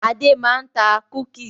Adé máa ń ta "cookies".